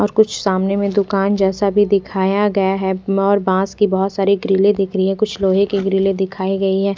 और कुछ सामने मे दुकान जैसा भी दिखाया गया है और बॉस की बहुत सारी ग्रिल्ले दिख रही है कुछ लोहे की ग्रिल्ले दिखाई गयी है।